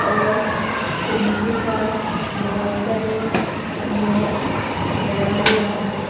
और उनके पास बहुत सारे मैट पड़ा हुआ है।